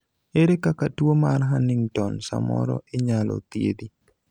ere kaka tuo mar Huntington samoro Inyalo thiedhi